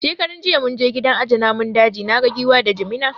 Shekaran jiya mun je gidan aje namun daji, naga Giwa da Jimina